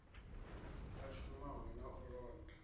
a shumaho na u londa